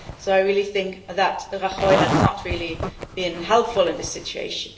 I really think that Rajoy has not really been helpful in this situation.